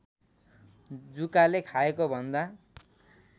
जुकाले खाएको भन्दा